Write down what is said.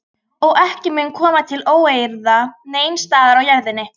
Og ekki mun koma til óeirða neins staðar á jörðinni.